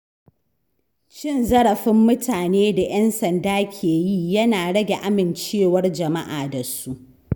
Cin zarafin mutane da ‘yan sanda ke yi yana rage amincewar jama’a da su.